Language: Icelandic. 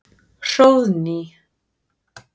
Hróðný